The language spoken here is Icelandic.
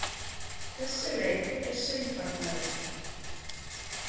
Þessi leið er seinfarnari.